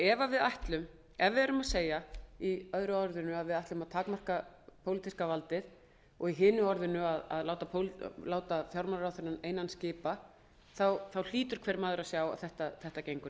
við segjum í öðru orðinu að við ætlum að takmarka pólitíska valdið og í hinu orðinu að láta fjármálaráðherrann einan skipa hlýtur hver maður að sjá að það gengur